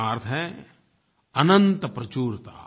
इसका अर्थ है अनंत प्रचुरता